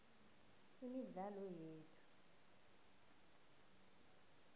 imidlalo yethu